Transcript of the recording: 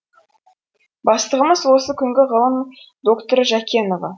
бастығымыз осы күнгі ғылым докторы жакенова